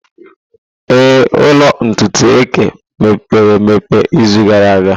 Ee, ụlọ ntutu eke mepere izu gara aga.